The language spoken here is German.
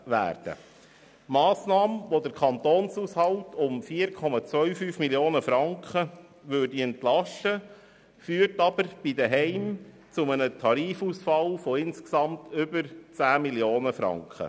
Die Massnahme, die den Kantonshaushalt um 4,25 Mio. Franken entlasten würde, führt bei den Heimen zu einem Tarifausfall von insgesamt über 10 Mio. Franken.